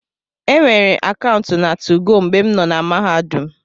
E nweere akaụntụ na 2go mgbe m nọ na Mahadum.